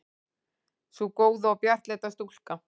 Sú góða og bjartleita stúlka.